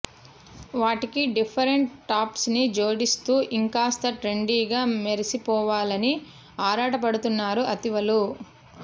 వాటికి డిఫరెంట్ టాప్స్ని జోడిస్తూ ఇంకాస్త ట్రెండీగా మెరిసిపోవాలని ఆరాటపడుతున్నారు అతివలు